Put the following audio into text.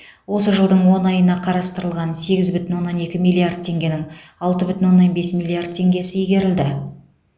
осы жылдың он айына қарастырылған сегіз бүтін оннан екі миллиард теңгенің алты бүтін оннан бес миллиард теңгесі игерілді